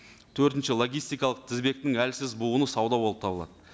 төртінші логистикалық тізбектің әлсіз буыны сауда болып табылады